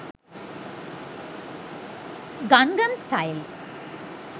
gangam style